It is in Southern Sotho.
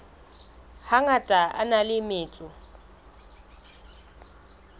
hangata a na le metso